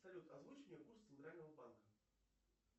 салют озвучь мне курс центрального банка